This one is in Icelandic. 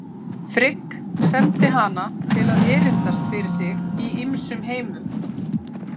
Frigg sendi hana til að erindast fyrir sig í ýmsum heimum.